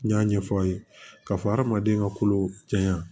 N y'a ɲɛfɔ aw ye k'a fɔ hadamaden ka kolo caya